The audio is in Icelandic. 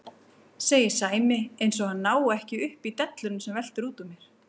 segir Sæmi eins og hann nái ekki upp í delluna sem veltur út úr mér.